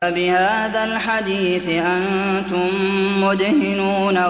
أَفَبِهَٰذَا الْحَدِيثِ أَنتُم مُّدْهِنُونَ